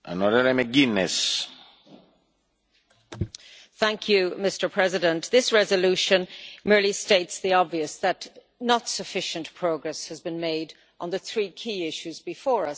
Mr President, this resolution merely states the obvious, that insufficient progress has been made on the three key issues before us.